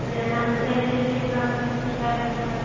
lunch time ରେ ଖାଉଥିଲେ ବି ମିସିକି ଖାଇବା ପିଇବା